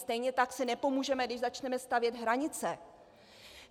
Stejně tak si nepomůžeme, když začneme stavět hranice.